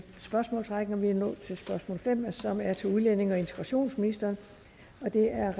spørgsmålsrækken og vi er nået til spørgsmål fem som er til udlændinge og integrationsministeren og det er